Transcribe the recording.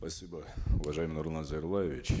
спасибо уважаемый нурлан зайроллаевич